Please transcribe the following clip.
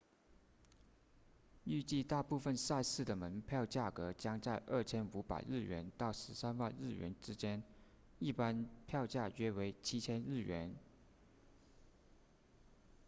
预计大部分赛事的门票价格将在 2,500 日元到13万日元之间一般票价约为 7,000 日元